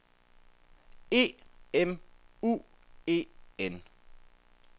E M U E N